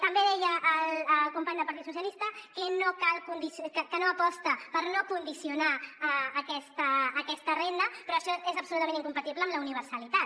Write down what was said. també deia el company del partit socialistes que no aposta per no condicionar a aquesta renda però això és absolutament incompatible amb la universalitat